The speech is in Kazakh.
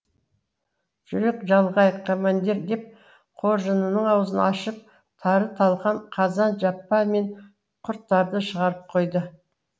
жүрек жалғайық командир деп қоржынының аузын ашып тары талқан қазан жаппа мен құрттарды шығарып қойды